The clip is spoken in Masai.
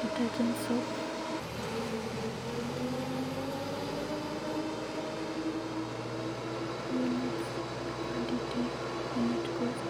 detergents soap units, quantity, coast